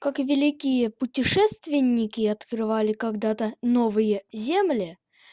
как великие путешественники открывали когда-то новые земли